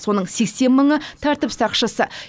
соның сексен мыңы тәртіп сақшысы